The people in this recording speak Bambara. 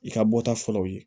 I ka bɔ ta fɔlɔ u ye